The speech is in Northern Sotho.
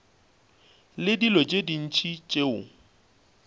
le dilo tše ntši tšeo